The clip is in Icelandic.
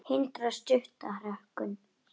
Hindrar stutta hrókun.